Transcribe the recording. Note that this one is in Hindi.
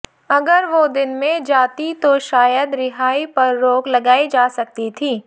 अगर वो दिन में जातीं तो शायद रिहाई पर रोक लगाई जा सकती थी